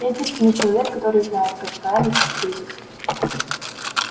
я единственный человек который знает как справиться с кризисом